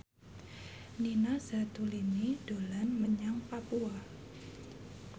Nina Zatulini dolan menyang Papua